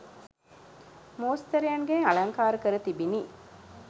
මෝස්තරයන්ගෙන් අලංකාර කර තිබිණි.